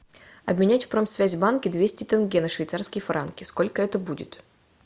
обменять в промсвязьбанке двести тенге на швейцарские франки сколько это будет